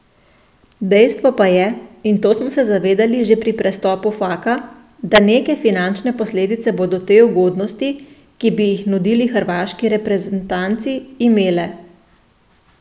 Dejstvo pa je, in to smo se zavedali že pri prestopu Faka, da neke finančne posledice bodo te ugodnosti, ki bi jih nudili hrvaški reprzentanci, imele.